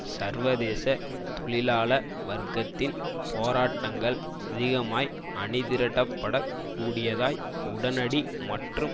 சர்வதேச தொழிலாள வர்க்கத்தின் போராட்டங்கள் அதிகமாய் அணிதிரட்டப்படக் கூடியதாய் உடனடி மற்றும்